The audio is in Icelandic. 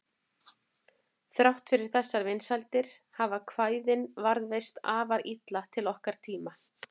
Þrátt fyrir þessar vinsældir hafa kvæðin varðveist afar illa til okkar tíma.